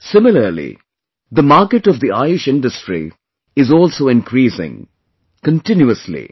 Similarly, the market of the Ayush Industry is also increasing continuously